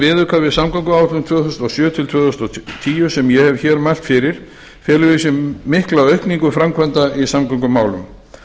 viðauka við samgönguáætlun tvö þúsund og sjö til tvö þúsund og tíu sem ég hef hér mælt fyrir felur í sér mikla aukningu framkvæmda í samgöngumálum